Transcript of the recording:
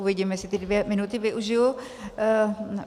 Uvidím, jestli ty dvě minuty využiji.